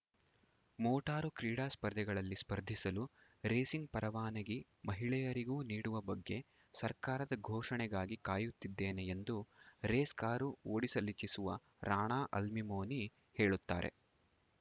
motor ಕ್ರೀಡಾ ಸ್ಪರ್ಧೆಗಳಲ್ಲಿ ಸ್ಪರ್ಧಿಸಲು ರೇಸಿಂಗ್‌ ಪರವಾನಿಗೆ ಮಹಿಳೆಯರಿಗೂ ನೀಡುವ ಬಗ್ಗೆ ಸರ್ಕಾರದ ಘೋಷಣೆಗಾಗಿ ಕಾಯುತ್ತಿದ್ದೇನೆ ಎಂದು ರೇಸ್‌ ಕಾರು ಓಡಿಸಲಿಚ್ಛಿಸುವ ರಾಣಾ ಅಲ್ಮಿಮೊನಿ ಹೇಳುತ್ತಾರೆ